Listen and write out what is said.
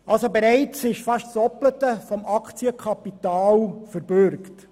Es ist bereits fast das Doppelte des Aktienkapitals verbürgt.